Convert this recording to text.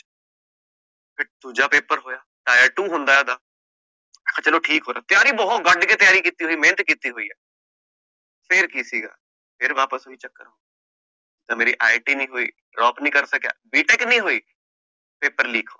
ਫੇਰ ਦੂਜਾ paper ਹੋਇਆ tier two ਹੁੰਦਾ ਓਹਦਾ ਚਲੋ ਠੀਕ ਹੋ ਰਿਹਾ ਤਿਆਰੀ ਬਹੁਤ ਗੱਡ ਕੇ ਤਿਆਰੀ ਕੀਤੀ ਹੋਇ ਮੇਹਨਤ ਕੀਤੀ ਹੋਇ ਫੇਰ ਕਿ ਸੀਗਾ ਫੇਰ ਵਾਪਸ ਓਹੀ ਚੱਕਰ ਮੇਰੀ IIT ਨੀ ਹੋਇ drop ਨੀ ਕਰ ਸਕਿਆ B Tech ਨੀ ਹੋਇ paper leak ਹੋ ਰਿਹਾ